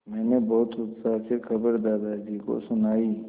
मैंने बहुत उत्साह से खबर दादाजी को सुनाई